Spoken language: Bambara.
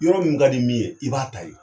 Yɔrɔ min kadi min ye, i b'a ta ye.